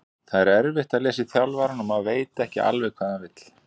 Það er erfitt að lesa í þjálfarann og maður veit ekki alveg hvað hann vill.